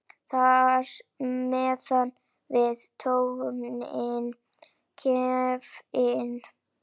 Þar með var tónninn gefinn.